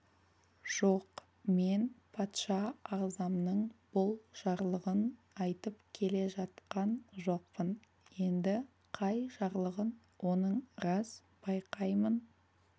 жоқ мен патша ағзамның бұл жарлығын айтып келе жатқан жоқпын енді қай жарлығын оның рас байқаймын